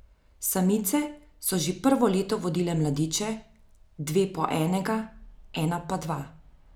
Samice so že prvo leto vodile mladiče, dve po enega, ena pa dva.